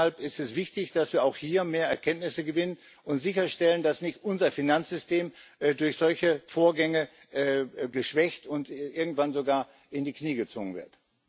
Deshalb ist es wichtig, dass wir auch hier mehr Erkenntnisse gewinnen und sicherstellen, dass unser Finanzsystem durch solche Vorgänge nicht geschwächt und irgendwann sogar in die Knie gezwungen wird.